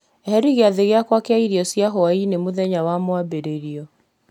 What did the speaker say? eheria gĩathĩ gĩakwa kĩa irio cia hwaĩ-inĩ mũthenya wa mwambĩrĩrio